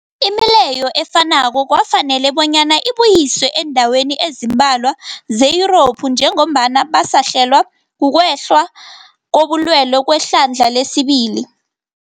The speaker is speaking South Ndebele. Imileyo efanako kwafanela bonyana ibuyiswe eendaweni ezimbalwa ze-Yurophu njengombana basahlelwa, kukwehla kobulwele kwehlandla lesibili.